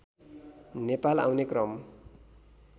नेपाल आउने क्रम